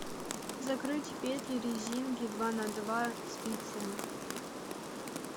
закрыть петли резинки два на два спицами